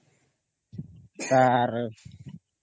ତାର